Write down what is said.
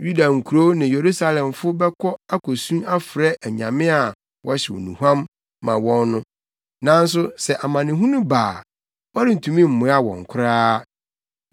Yuda nkurow ne Yerusalemfo bɛkɔ akosu afrɛ anyame a wɔhyew nnuhuam ma wɔn no, nanso sɛ amanehunu ba a wɔrentumi mmoa wɔn koraa.